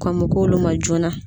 Kɔn be k'olu ma joona.